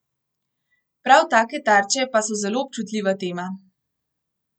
Prav take tarče pa so zelo občutljiva tema.